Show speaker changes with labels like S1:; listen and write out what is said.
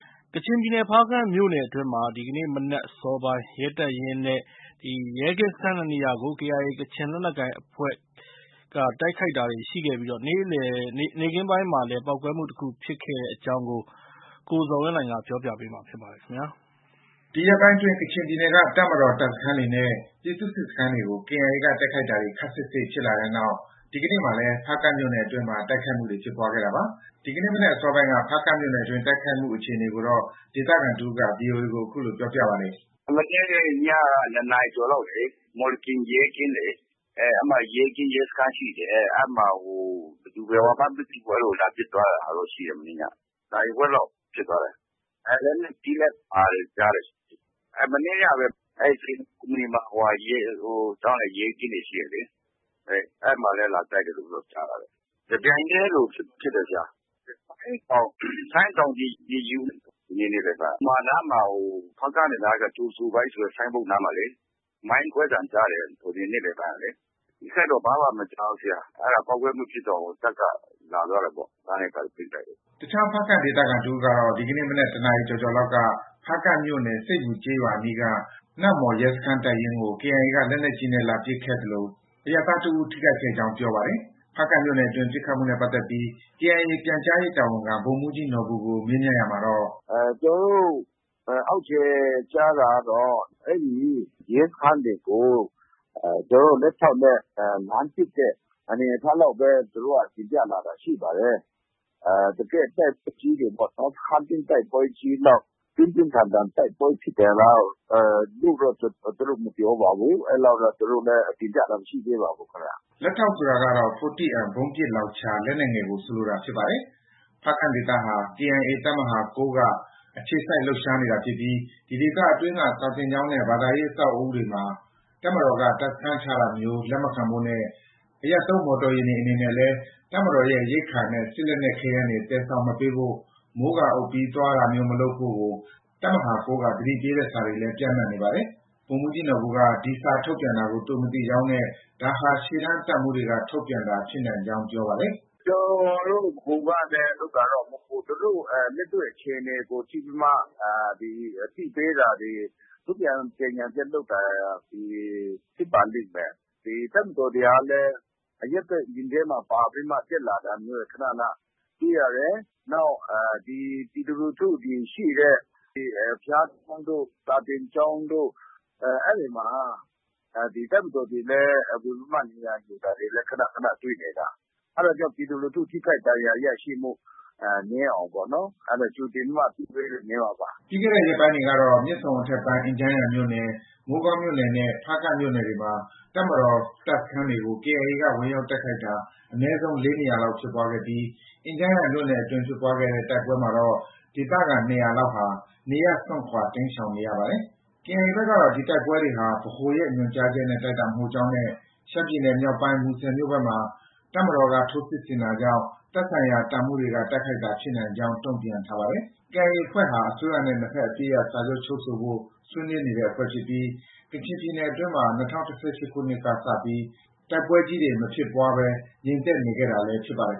S1: ကချင်ပြည်နယ် ဖားကန့်မြို့နယ်အတွင်းမှာ ဒီကနေ့ မနက် အစောပိုင်းရဲတပ်ရင်းနဲ့ ရဲကင်းစခန်း ၂ နေရာကို KIA ကချင်လက်နက်ကိုင်အဖွဲ့က တိုက်ခိုက်တာတွေ ရှိခဲ့ပြီး နေ့ခင်းပိုင်းမှာလည်း ပေါက်ကွဲမှု တစ်ခုဖြစ်တဲ့အကြောင်း ရန်ကုန်ကရတဲ့ သတင်းကို ကိုဇော်ဝင်းလှိုင်ကပြောပြပါမယ်။ ဒီရက်ပိုင်းအတွင်း ကချင်ပြည်နယ်က တပ်မတော် တပ်စခန်းတွေနဲ့ ပြည်သူ့စစ်စခန်းတွေကို KIA က တိုက်ခိုက်တာတွေ ခပ်စိပ်စိပ်ဖြစ်လာခဲ့တဲ့နောက် ဒီကနေ့မှာလည်း ဖားကန့်မြို့နယ်အတွင်းမှာလည်း တိုက်ခိုက်မှုတွေ ဖြစ်ပွားခဲ့တာပါ။ ဒီကနေ့မနက်အစောပိုင်းက ဖားကန့်မြို့နယ်တွင်း တိုက်ခိုက်မှုအခြေအနေကို ဒေသခံတစ်ဦးက ဗွီအိုအေကို အခုလို ပြောပါတယ်။ “မနေ့ညက ၂ နာရီကျော်လေ
S2: ာက်လေ... မော်လကင်ရဲကင်းလေ၊ အဲဒီမှာ ရဲကင်း ရဲစခန်းရှိတယ်။ အဲဒီမှာ ဘယ်သူ၊ ဘယ်ဝါမှန်းမသိဘူး။ အဲဒါ လာပစ်သွားတာတော့ ရှိတယ်... မနေ့ညက။ နာရီဝက်လောက် ပစ်သွားတယ်။ လက်နက်ကြီးလည်း ပါတယ်ကြားတယ်။ မနေ့ကပဲ အဲဒီ စိန်လုံကုမ္ပဏီမှာ စောင့်တဲ့ရဲကင်းတွေ ရှိတယ်လေ။ အဲဒီမှာလည်း လာတိုက်တယ်လို့တော့ ကြားတာပဲ။ တပြိုင်တည်းလိုဖြစ်တယ်။ ဒီနေ့ နေ့လယ်ပိုင်းက ဆိုင်းတောင် ယူမာနားမှာ။ ဖားကန့်ကနေလာတဲ့အခါ ကြိုဆိုပါ၏ဆိုတဲ့ ဆိုင်းဘုတ်နားမှာလေ.. မိုင်းကွဲသံ ကြားတယ်။ နေ့လယ်ပိုင်းကလေ။ အထိအခိုက်တော့ ဘာမှ မကြားဘူး။ အဲဒီပေါက်ကွဲမှုဖြစ်တော့ တပ်က လာသွားတာပေါ့။ လမ်းတွေ၊ ဘာတွေ ပိတ်လိုက်တယ်
S1: ။” အခြားဖားကန့်ဒေသခံတစ်ဦးကတော့ ဒီကနေ့ မနက် ၁ နာရီကျော်ကျော်လောက်က ဖားကန့်မြို့နယ် ဆိတ်မူကျေးရွာအနီးက နမ့်မှော်ရဲတပ်ရင်းကို KIA က လက်နက်ကြီးနဲ့ လာပစ်ခတ်ခဲ့သလို အရပ်သားတစ်ဦး ထိခိုက်ခဲ့ကြောင်း ပြောပါတယ်။ ဖားကန့်မြို့နယ်အတွင်း ပစ်ခတ်မှုနဲ့ပတ်သက်ပြီး KIA က ပြန်ကြားရေးတာဝန်ခံ ဗိုလ်မှုးကြီးနော်ဘူကို မေးမြန်းရာမှာတော့-
S2: “ကျနော်တို့ အောက်ခြေက ကြားတာကတော့ အဲဒီ ရဲစခန်းတွေကို သူတို့ လက်ထောက်နဲ့ လှမ်းပစ်တဲ့ အနေအထားလောက်ပဲ သူတို့က တင်ပြလာတာ ရှိပါတယ်။ တကယ့်တပ်အကြီးတွေပေ့ါ။ စခန်းသိမ်းတိုက်ပွဲကြီးလောက် ပြင်းပြင်းထန်ထန်တိုက်ပွဲဖြစ်တယ်လို့တော့ သူတို့ မပြောပါဘူး။ အဲဒီလောက်တော့ သူတို့လည်း တင်ပြတာ မရှိသေးပါဘူး။
S1: ” လက်ထောက်ဆိုတာကတော့ 40M ဗုံးပစ်လောင်ချာ လက်နက်ငယ်ကို ဆိုလိုတာဖြစ်ပါတယ်။ ဖားကန့်ဒေသဟာ KIA တပ်မဟာ ၉ က အခြေစိုက်လှုပ်ရှားနေတာဖြစ်ပြီး ဒီဒေသအတွင်းက စာသင်ကျောင်းနဲ့ ဘာသာရေးအဆောက်အဦးတွေမှာ တပ်မတော်က စခန်းချတာမျိုးလက်မခံဖို့နဲ့ အရပ်သုံးမော်တော်ယာဉ်တွေ အနေနဲ့လည်း တပ်မတော်ရဲ့ ရိက္ခာနဲ့ စစ်လက်နက် ခဲယမ်းတွေ သယ်ဆောင်မပေးဖို့၊ မိုးကာအုပ် သွားလာတာမျိုး မလုပ်ဖို့ကို တပ်မဟာ ၉ က သတိပေးတဲ့စာတွေလည်း ပျံ့နှံ့နေပါတယ်။ ဗိုလ်မှုးကြီးနော်ဘူက ဒီစာထုတ်ပြန်တာကို သူမသိကြောင်းနဲ့ ဒါဟာ ရှေ့တန်းတပ်မှူးတွေက ထုတ်ပြန်တာ ဖြစ်နိုင်ကြောင်း ပြောပါတယ်
S2: ။ “ကျနော်တို့ ဗဟိုကနေ ထုတ်တာတော့ မဟုတ်ဘူး။ သူတို့ လက်တွေ့အခြေအနေကို ကြည့်ပြီးမှ အသိပေးတာတွေ၊ ထုတ်ပြန်ကြေညာချက်ထုတ်တာတွေ ဖြစ်ပါလိမ့်မယ်။ ဒီတပ်မတော်တွေကလည်း အရပ်ဘက်ယာဉ်ထဲမှာ ပါပြီးမှ တက်လာတာတွေ ခဏ ခဏ တွေ့ရတယ်။ နောက် ပြည်သူလူထုရှိတဲ့ ဘုရားကျောင်းတို့၊ စာသင်ကျောင်းတို့ အဲဒီမှာ တပ်မတော်တွေလည်း ဝင်ပြီးမှ နေရာယူတာတွေလည်း ခဏခဏ တွေ့နေတယ်။ အဲဒါကြောင့် ပြည်သူလူထု ထိခိုက်ဒဏ်ရာရရှိမှု နည်းအောင်ပေါ့... အဲဒါ ကြိုတင်ပြီးမှ သတိပေးတာ
S1: နေမှာပါ။ ” ပြီးခဲ့တဲ့ ရက်ပိုင်းတွေကတော့ မြစ်ဆုံအထက်ပိုင်း အင်ဂျန်းယန်မြို့နယ်၊ မိုးကောင်းမြို့နယ်၊ ဖားကန့်မြို့နယ်တွေမှာ တပ်မတော်တပ်စခန်းတွေကို KIA က ဝင်ရောက်တိုက်ခိုက်တာ အနည်းဆုံး ၄ နေရာလောက်ဖြစ်ပွားခဲ့ပြီး အင်ဂျန်ယန်မြို့နယ်အတွင်းဖြစ်တဲ့ တိုက်ပွဲမှာတော့ ဒေသခံ ၂၀၀ လောက်ဟာ နေရပ်စွန့်ခွာ တိမ်းရှောင်နေရပါတယ်။ KIA ဘက်ကတော့ ဒီတိုက်ပွဲတွေဟာ ဗဟိုရဲ့ ညွှန်ကြားချက်နဲ့ တိုက်တာမဟုတ်ကြောင်းနဲ့ ရှမ်းပြည်နယ်မြောက်ပိုင်း မူဆယ်ဘက်မှာ တပ်မတော်က ထိုးစစ်ဆင်တာကြောင့် သက်ဆိုင်ရာ တပ်မှူးတွေက တိုက်ခိုက်တာဖြစ်နိုင်ကြောင်း တုံ့ပြန်ထားပါတယ်။ KIA အဖွဲ့ဟာ အစိုးရနဲ့ နှစ်ဘက်အပစ်ရပ်စာချုပ်ချုပ်ဆိုဖို့ ဆွေးနွေးနေတဲ့အဖွဲ့ဖြစ်ပြီး ကချင်ပြည်နယ်အတွင်းမှာ ၂၀၁၈ ခုနှစ်လောက်ကစပြီး တိုက်ပွဲကြီးတွေ မဖြစ်ပွားဘဲ ငြိမ်သက်နေခဲ့တာလည်
S2: း ဖြစ်ပါတယ်